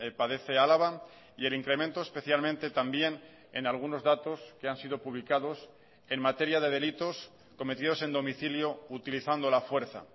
padece álava y el incremento especialmente también en algunos datos que han sido publicados en materia de delitos cometidos en domicilio utilizando la fuerza